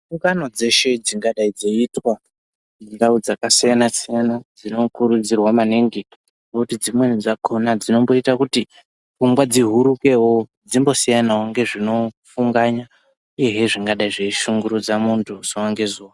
Gungano dzeshe dzingadai dzeiitwa mundau dzakasiyana siyana dzinokurudzirwa maningi kuti dzimweni dzakona kuti pfungwa dzihuruke piyani nezvinofungwana zvingadai zveishungurudza vantu zuwa ngezuwa.